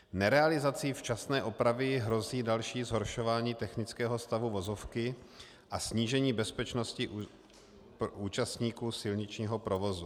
Nerealizací včasné opravy hrozí další zhoršování technického stavu vozovky a snížení bezpečnosti účastníků silničního provozu.